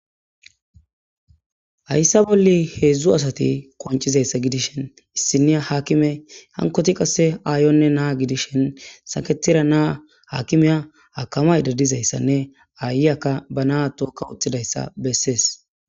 Hayssa bolla heedzdzu asati qoncishin ,issiniyya haakime hankoti aayonne naa gidishin aakimiya akkamaada diyaysanne aayiya ba naa tookka uttidayssa bessees.